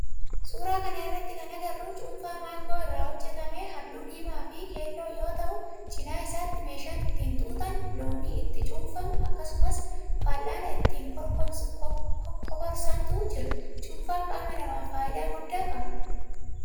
suuraa kana irratti kan agarru cuunfaa maangoo irraa hojjetaame halluu diimaa fi keelloo yoo ta'u cinaa isaatti meeshaan ittin xuuxan, loomii itti cuunfamu, akkasumas fal'aana itti kokorsantu jira. Cuunfan qaama namaf faayidaa guddaa qaba.